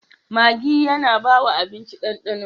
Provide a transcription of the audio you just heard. Maggi yAna bawa abinci dan dano